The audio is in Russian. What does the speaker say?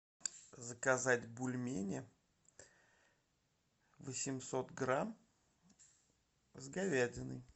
заказать бульмени восемьсот грамм с говядиной